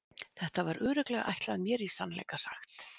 Þetta var örugglega ætlað mér í sannleika sagt.